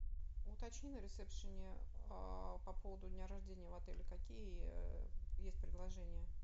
уточни на ресепшене по поводу дня рождения в отеле какие есть предложения